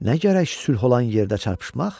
Nə gərək sülh olan yerdə çarpışmaq?